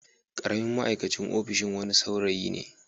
Karamin ma'aikacin ofishin wani saurayi ne.